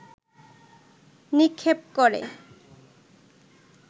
নিক্ষেপ করে